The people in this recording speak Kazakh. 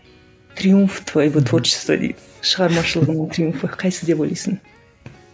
триумф твоего творчество дейді шығармашылығыңның триумфы қайсысы деп ойлайсың